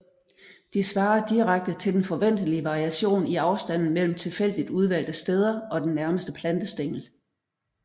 De svarer direkte til den forventelige variation i afstanden mellem tilfældigt udvalgte steder og den nærmeste plantestængel